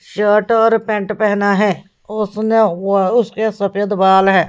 Shirt और pant पहना है उसने व उसके सफेद बाल हैं।